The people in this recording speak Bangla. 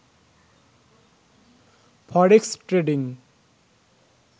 forex trading